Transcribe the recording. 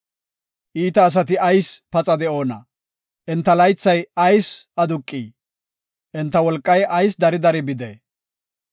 Iita asati ayis paxa de7oona? Enta laythay ayis aduqii? Enta wolqay ayis dari dari bidee?